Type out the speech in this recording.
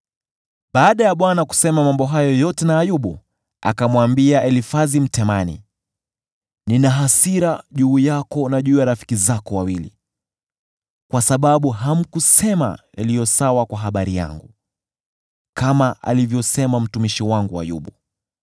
Baada ya Bwana kusema mambo haya yote na Ayubu, akamwambia Elifazi Mtemani, “Nina hasira juu yako na juu ya rafiki zako wawili, kwa sababu hamkusema yaliyo sawa kwa habari yangu, kama alivyosema mtumishi wangu Ayubu.